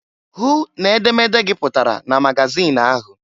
Hụ n' edemede gị pụtara na magazịn ahụ!